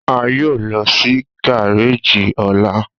A yoo lọ si gareji ọla.